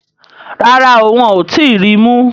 Rárá o, wọ́n ò tí ì ri mú